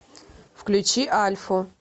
включи альфу